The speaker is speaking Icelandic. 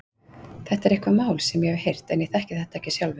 Þetta er eitthvað mál sem ég hef heyrt en ég þekki þetta ekki sjálfur.